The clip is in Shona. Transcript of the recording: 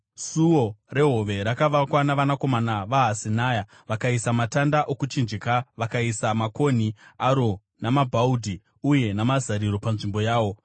Suo reHove rakavakwa navanakomana veHasenaya. Vakaisa matanda okuchinjika vakaisa makonhi aro namabhaudhi uye namazariro panzvimbo yawo.